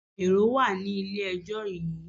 Èrò wà ní ilé ijó yìí